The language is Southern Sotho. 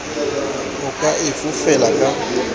o ka e fofela ka